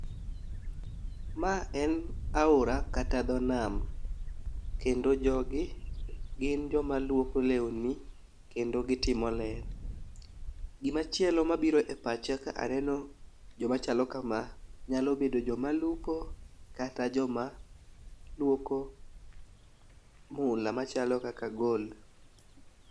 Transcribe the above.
Ma en aora kata dho nam kendo jogi gin joma luoko lewni kendo gitimo ler. Gimachielo mabiro e pacha ka aneno joma chalo kama nyalo bedo joma lupo kata joma luoko mula machalo kaka gold